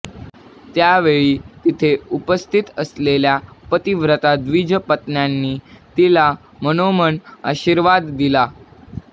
त्यावेळी तिथे उपस्थित असलेल्या पतिव्रता द्विजपत्न्यांनी तिला मनोमन आशीर्वाद दिले